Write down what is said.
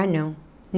Ah, não.